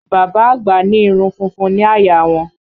Bàbá àgbà ní irun funfun ní àyà a wọn